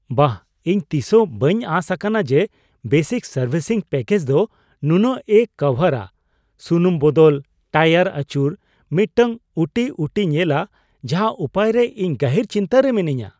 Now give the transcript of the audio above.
ᱵᱟᱦ! ᱤᱧ ᱛᱤᱥᱦᱚᱸ ᱵᱟᱹᱧ ᱟᱸᱥ ᱟᱠᱟᱱᱟ ᱡᱮ ᱵᱮᱥᱤᱠ ᱥᱟᱨᱵᱷᱤᱥᱤᱝ ᱯᱮᱠᱮᱡᱽ ᱫᱚ ᱱᱩᱱᱟᱹᱜᱼᱮ ᱠᱚᱵᱷᱟᱨᱟᱼᱥᱩᱱᱩᱢ ᱵᱚᱫᱚᱞ, ᱴᱟᱭᱟᱨ ᱟᱹᱪᱩᱨ, ᱢᱤᱫᱴᱟᱝ ᱩᱴᱤ ᱩᱴᱤᱭ ᱧᱮᱞᱟ ᱾ ᱡᱟᱦᱟ ᱩᱯᱟᱹᱭ ᱨᱮ ᱤᱧ ᱜᱟᱹᱦᱤᱨ ᱪᱤᱱᱛᱟᱹ ᱨᱮ ᱢᱤᱱᱟᱹᱧᱟ ᱾